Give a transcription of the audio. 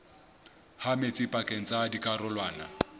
ha metsi pakeng tsa dikarolwana